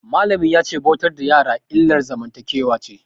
Malamin ya ce bautar da yara illar zamantakewa ce.